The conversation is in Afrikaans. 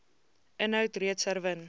inhoud reeds herwin